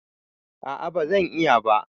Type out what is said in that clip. A'a ba zan iya ba